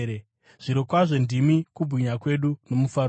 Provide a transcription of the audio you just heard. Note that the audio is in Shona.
Zvirokwazvo ndimi kubwinya kwedu nomufaro wedu.